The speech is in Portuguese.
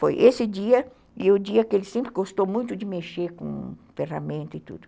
Foi esse dia e o dia que ele sempre gostou muito de mexer com ferramenta e tudo.